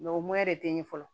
o de tɛ n ɲɛ fɔlɔ